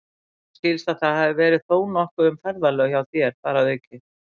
Mér skilst, að það hafi verið þó nokkuð um ferðalög hjá þér þar að auki